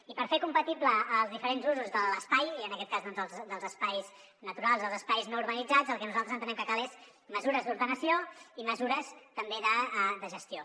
i per fer compatibles els diferents usos de l’espai i en aquest cas dels espais naturals els espais no urbanitzats el que nosaltres entenem que cal són mesures d’ordenació i mesures també de gestió